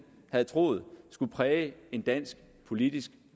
havde troet skulle præge en dansk politisk